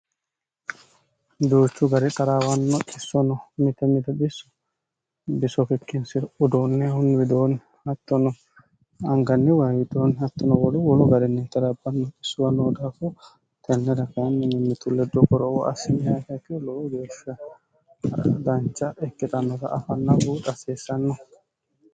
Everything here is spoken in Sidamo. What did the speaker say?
duuchu gari taraawanno xissono mite mita issu bisokikkinsi udoonneehunni widoonni hattono anganni wayidoonni hattono wolu wolu garinni xilabbanno issuw noo daafu tenneda kainminimitulledo goroowo asinya heki lou geeshsha dancha ikkixannota afanna buuxa aseessanno